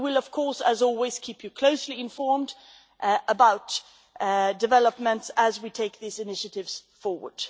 We will of course, as always, keep you closely informed about developments as we take these initiatives forward.